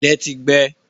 Ilẹ̀ ti gbẹ.